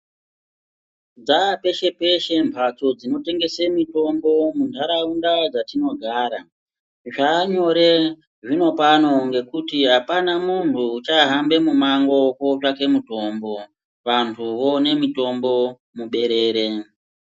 Dzapeshe peshe mbatso dzinotengese mitombo mundaraunda dzatogara zvanyore zvinopano ngekuti apana muntu uchahambe mumango kotsvaka mutombo vantu voone mutombo muberere.